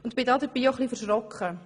Dabei bin ich etwas erschrocken.